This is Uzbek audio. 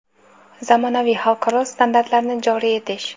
zamonaviy xalqaro standartlarni joriy etish;.